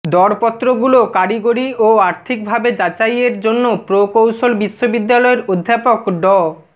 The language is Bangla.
দরপত্রগুলো কারিগরি ও আর্থিকভাবে যাচাইয়ের জন্য প্রকৌশল বিশ্ববিদ্যালয়ের অধ্যাপক ড